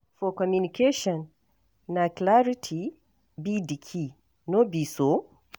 For communication, na clarity be di key, no be so?